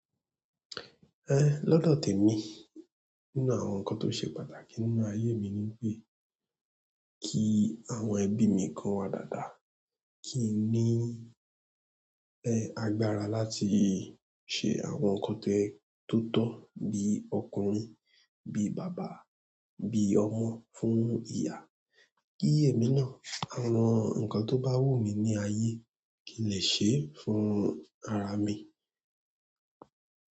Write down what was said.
Lọ́dọ̀ tèmi, nínú àwọn nǹkan tó ṣe pàtàkì nínú ayé mi ni wipé kí àwọn ẹbí mi kí wọ́n wà dáadáa, kí n ní, agbára láti ṣe àwọn nǹkan tó tótọ́ bí ọkùnrin, bí bàbá, bí ọmọ fún ìyá. Kí èmi náà àwọn nǹkan tó bá wù mí ní ayé kí n lè ṣe é fún ara mi.